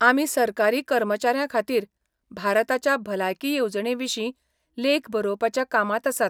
आमी सरकारी कर्मचाऱ्यांखातीर भारताच्या भलायकी येवजणे विशीं लेख बरोवपाच्या कामांत आसात.